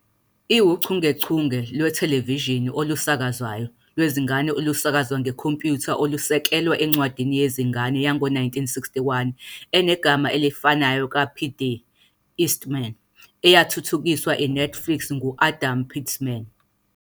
iwuchungechunge lwethelevishini olusakazwayo lwezingane olusakazwa ngekhompyutha olusekelwe encwadini yezingane yango-1961 enegama elifanayo ka-P. D. Eastman, eyathuthukiswa i-Netflix ngu-Adam Peltzman.